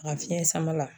A fiɲɛ sama la